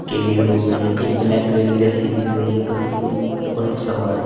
केबील हो गए एक ब्लैक कलर की रस्सी दिख रही है पतली सी और सामान--